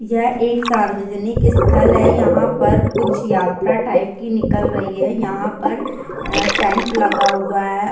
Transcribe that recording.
यह एक सार्वजनिक स्थल है यहां पर कुछ यात्रा टाइप की निकाल रही है| यहां पर टेंट लगा हुआ है।